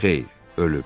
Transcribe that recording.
Xeyr, ölüb.